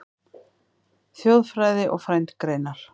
Þjóðfræði og frændgreinar